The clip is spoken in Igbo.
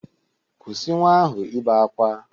Kwụsị nwa ahụ ibe akwa!